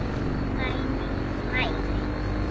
Dagný: Læri.